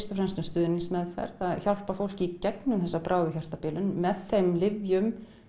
og fremst um stuðningsmeðferð og hjálpa fólki í gegnum þessa bráðu hjartabilun með þeim lyfjum